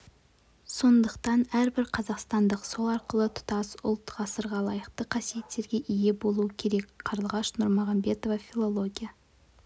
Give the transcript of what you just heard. сондықтан әрбір қазақстандық сол арқылы тұтас ұлт ғасырға лайықты қасиеттерге ие болуы керек қарлығаш нұрмұхамбетова филология